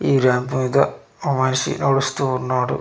ఈ ర్యాంప్ మీద ఓ మనిషి నడుస్తూ ఉన్నాడు.